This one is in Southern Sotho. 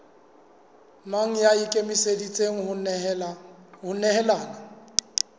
mang ya ikemiseditseng ho nehelana